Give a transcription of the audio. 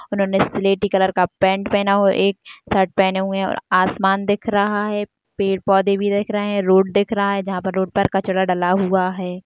उन्होंने स्लेटी कलर का पेंट पहना हुआ है एक शर्ट पहने हुए हैं आसमान दिख रहा है पेड़ पौधे भी दिख रहे हैं रोड दिख रहा है जहां पर रोड पर कचरा डाला हुआ है।